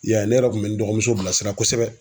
I y'a ye ne yɛrɛ kun bɛ n dɔgɔmuso bilasira kosɛbɛ.